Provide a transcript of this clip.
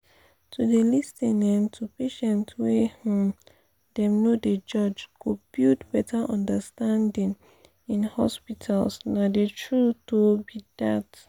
to dey lis ten um to patients wey um dem no dey judge go build better understanding in hospitals nah the truth um be dat.